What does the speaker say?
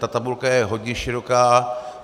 Ta tabulka je hodně široká.